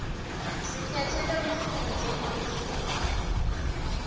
sikhetse lolusuku njengelusuku